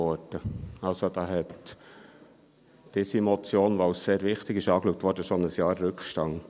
Die erste Motion, welche als sehr wichtig angeschaut wurde, hat also schon ein Jahr Rückstand.